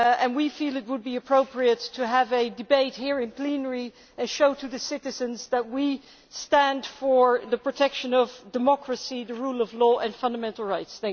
We feel it would be appropriate to have a debate here in plenary to show the citizens that we stand for the protection of democracy, the rule of law and fundamental rights.